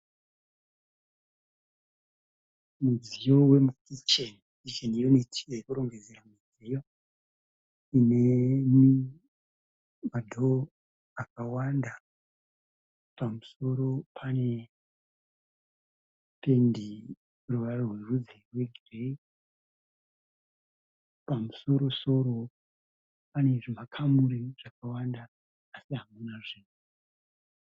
Mudziyo wemukicheni, kicheni yuniti yekurongedzera midziyo ine madhoo akawanda. Pamusoro pane pendi yeruvara rwerudzi rwegireyi. Pamusorosoro pane zvimakamuri zvakawanda asi hamuna zvunhu.